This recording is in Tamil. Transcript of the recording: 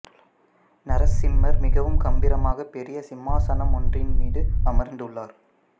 நரசிம்மர் மிகவும் கம்பீரமாக பெரிய சிம்மாசனம் ஒன்றின் மீது அமர்ந்து உள்ளார்